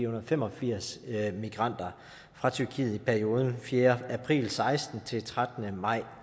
og femogfirs migranter fra tyrkiet i perioden fjerde april seksten til trettende maj